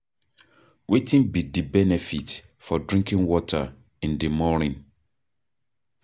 Wetin be di benefit for drinking water in di morning?